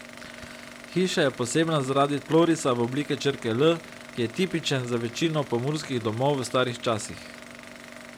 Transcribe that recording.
Hiša je posebna zaradi tlorisa v obliki črke L, ki je tipičen za večino pomurskih domov v starih časih.